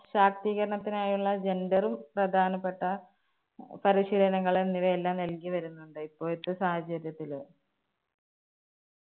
ശാക്തീകരണത്തിനായുള്ള gender ഉം പ്രധാനപ്പെട്ട പരിശീലനങ്ങൾ എന്നിവയെല്ലാം നൽകി വരുന്നുണ്ട്. ഇപ്പോഴത്തെ സാഹചര്യത്തില്